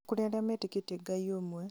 Nĩkũrĩ arĩa metĩkĩtie Ngai ũmwe